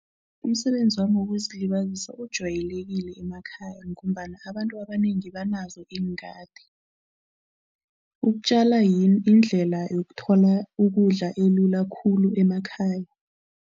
Umsebenzi wami wokuzilibazisa ujwayelekile emakhaya ngombana abantu abanengi banazo iingadi. Ukutjala yindlela yokuthola ukudla elula khulu emakhaya.